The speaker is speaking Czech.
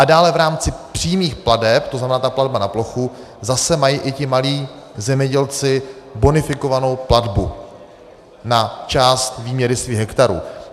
A dále v rámci přímých plateb, to znamená ta platba na plochu, zase mají i ti malí zemědělci bonifikovanou platbu na část výměry svých hektarů.